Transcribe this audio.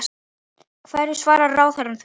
Hverju svarar ráðherra því?